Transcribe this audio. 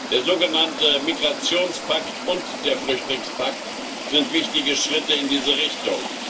Der sogenannte Migrationspakt und der Flüchtlingspakt sind wichtige Schritte in diese Richtung.